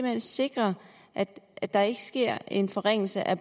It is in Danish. hen sikre at at der ikke sker en forringelse af